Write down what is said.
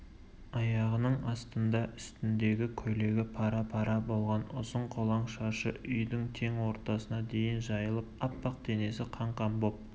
аяғының астында үстіндегі көйлегі пара-пара болған ұзын қолаң шашы үйдің тең ортасына дейін жайылып аппақ денесі қан-қан боп